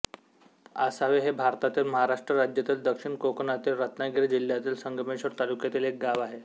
आसावे हे भारतातील महाराष्ट्र राज्यातील दक्षिण कोकणातील रत्नागिरी जिल्ह्यातील संगमेश्वर तालुक्यातील एक गाव आहे